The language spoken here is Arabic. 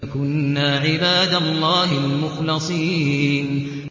لَكُنَّا عِبَادَ اللَّهِ الْمُخْلَصِينَ